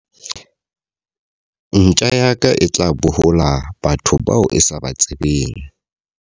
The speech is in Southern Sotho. Ntja ya ka e tla bohola batho bao e sa ba tsebeng.